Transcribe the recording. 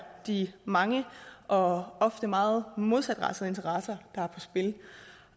de mange og ofte meget modsatrettede interesser